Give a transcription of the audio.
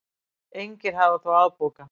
Engir hafi þó afbókað.